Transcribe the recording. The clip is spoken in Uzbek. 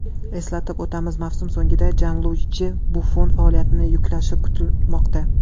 Eslatib o‘tamiz, mavsum so‘ngida Janluiji Buffon faoliyatini yakunlashi kutilmoqda.